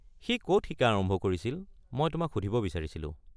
সি ক'ত শিকা আৰম্ভ কৰিছিল মই তোমাক সুধিব বিচাৰিছিলোঁ।